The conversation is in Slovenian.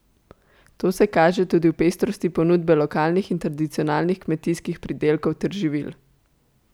To se kaže tudi v pestrosti ponudbe lokalnih in tradicionalnih kmetijskih pridelkov ter živil.